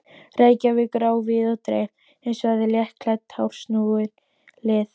Reykjavíkur á víð og dreif um svæðið, léttklædd, harðsnúin lið.